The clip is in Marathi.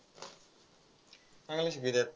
चांगलं शिकवित्यात.